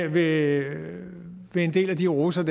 ved en en del af de roser